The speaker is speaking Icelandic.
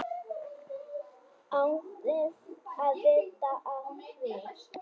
Án þess að vita af því.